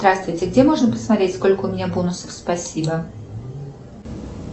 здравствуйте где можно посмотреть сколько у меня бонусов спасибо